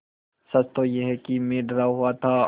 सच तो यह है कि मैं डरा हुआ था